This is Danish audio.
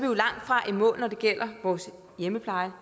jo langtfra i mål når det gælder vores hjemmepleje